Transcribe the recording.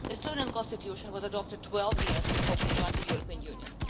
The Estonian Constitution was adopted 12 years before we joined the European Union.